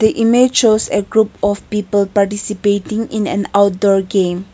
image shows a group of people participating in an outdoor game.